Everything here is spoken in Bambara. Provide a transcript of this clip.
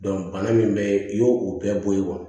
bana min bɛ i y'o o bɛɛ bɔ ye wa